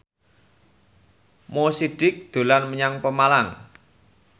Mo Sidik dolan menyang Pemalang